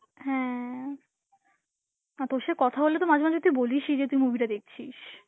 হ্যাঁ, আর তোর সাথে কথা বললে তো মাঝে মাঝে তুই বলিসই যে তুই movie টা দেখছিস.